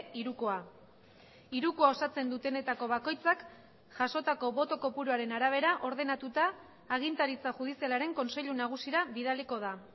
hirukoa hirukoa osatzen dutenetako bakoitzak jasotako boto kopuruaren arabera ordenatuta agintaritza judizialaren kontseilu nagusira bidaliko da